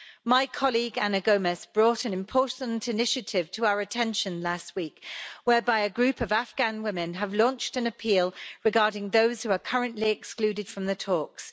My colleague, Ana Gomes, brought an important initiative to our attention last week, whereby a group of Afghan women have launched an appeal regarding those who are currently excluded from the talks.